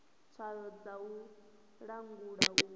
tswayo dza u langula u